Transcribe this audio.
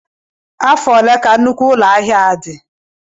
Afọ ole ka nnukwu ụlọ ahịa a dị?